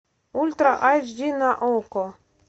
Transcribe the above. ультра айч ди на окко